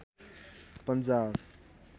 Punjab